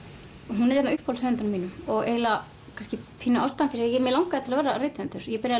hún er einn af uppáhaldshöfundum mínum og eiginlega kannski pínu ástæðan fyrir því að mig langaði til að verða rithöfundur ég byrjaði